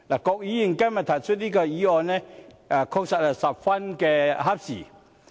郭議員今天提出這項議案，確實是十分合時。